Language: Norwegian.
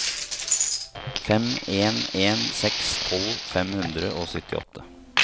fem en en seks tolv fem hundre og syttiåtte